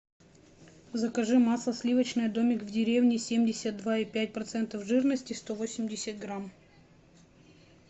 закажи масло сливочное домик в деревне семьдесят два и пять процентов жирности сто восемьдесят грамм